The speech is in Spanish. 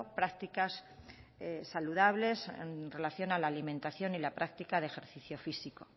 prácticas saludables en relación a la alimentación y la práctica de ejercicio físico